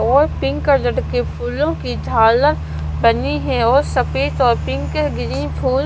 और pink colour के फूलों की झालर बनी है और सफेद और पिंक ग्रीन फूल--